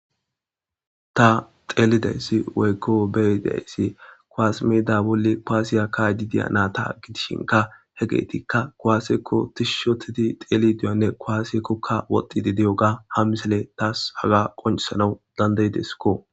Ta xelidayssi woykko be'dayssi kuwasse meda bolli kuwasiya ka'ddi diyyo natha gidishinkka hegethikka kuwasekko tishshi othidi xelididiyogane kuwasekokka woxidi diyoga ha missile tas haga qoncisanwu dandae'desikko.